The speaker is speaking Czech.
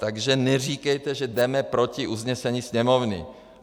Takže neříkejte, že jdeme proti usnesení Sněmovny!